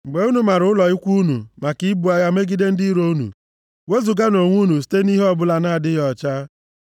Mgbe unu mara ụlọ ikwu unu maka ibu agha megide ndị iro unu, wezuganụ onwe unu site nʼihe ọbụla na-adịghị ọcha.